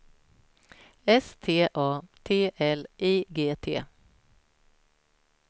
S T A T L I G T